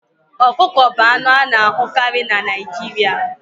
Okuko bụ anụ a na-ahụkarị na Naijiria